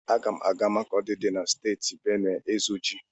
Aga m aga Makọdi dị na Steeti Benuwe ịzụ ji.